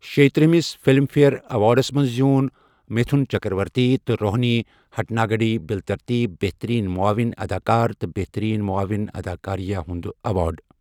شیٚیہٕ ترٕٛہمس Filmfare awards منٛز زیوٗن متھن چکرورتی تہٕ روہنی ہٹانگڈی بِلترتیٖب بہتٔریٖن معاون اداکار تہٕ بہتٔرین معاون اداکارایہ ہنٛد ایوارڈ ۔